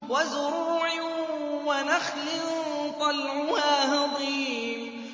وَزُرُوعٍ وَنَخْلٍ طَلْعُهَا هَضِيمٌ